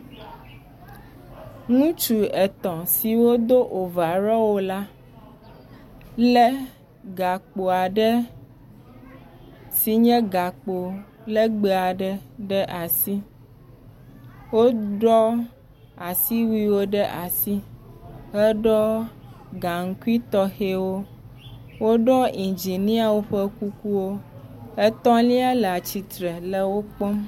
ŋutsu etɔ̃ siwó dó ovarɔwo la le gakpoaɖe sinye gakpo legbe aɖe ɖe asi wó ɖɔ́ asiwuiwo ɖe asi heɖɔ gaŋkui tɔxɛwo woɖɔ́ indziniawo ƒe kuku etɔ̃lia la tsitsre le wó kpɔm